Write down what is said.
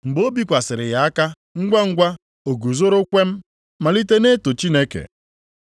Mgbe o bikwasịrị ya aka, ngwangwa, o guzooro kwem malite na-eto Chineke.